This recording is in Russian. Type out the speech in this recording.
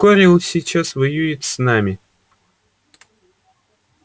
корел сейчас воюет с нами